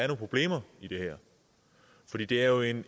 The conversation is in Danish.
problemer i det her for det det er jo en